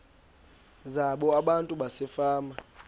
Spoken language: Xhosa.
zabo abantu basefama